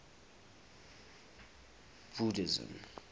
buddhism